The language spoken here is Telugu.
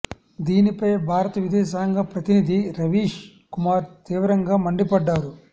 దీనిపై భారత విదేశాంగ ప్రతినిధి రవీష్ కుమార్ తీవ్రంగా మండిపడ్డారు